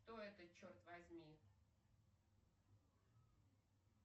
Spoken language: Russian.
кто это черт возьми